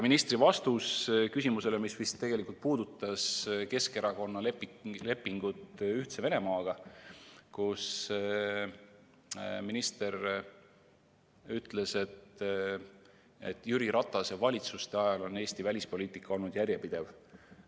Minister vastas küsimusele, mis puudutas Keskerakonna lepingut Ühtse Venemaaga, et Jüri Ratase valitsuste ajal oli Eesti välispoliitika järjepidev.